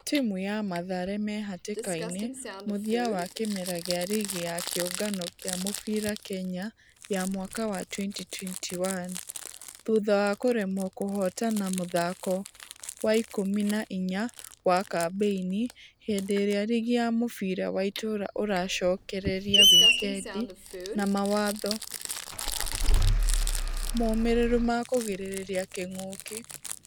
Timũ ya mathare mehatĩka-inĩ .....mũthia wa kĩmera gĩa rigi ya kĩũngano gĩa mũbira kenya ya mwaka wa 2021. Thutha wa kũremwo kũhotana mũthako wa wa ikũmi na inya wa kambeini hĩndĩ ĩrĩa rigi ya mũbira wa itũra ũracokereria wikendi na mawatho mũmĩriru ma kũgirereria kĩng'uki.